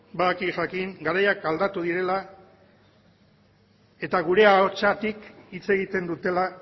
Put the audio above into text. jakin badaki garaiak aldatu direla eta gure ahotsetik hitz egiten dutela